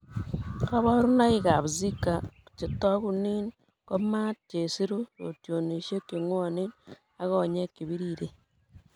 Koborunoikab Zika chetokunin ko maat, chesiru, rotyonisiek cheng'wonwn ak konyek chebiriren.